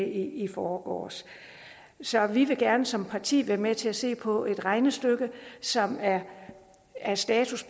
i forgårs så vi vil gerne som parti være med til at se på et regnestykke som er er status